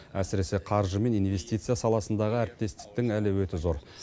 әсіресе қаржы мен инвестиция саласындағы әріптестіктің әлеуеті зор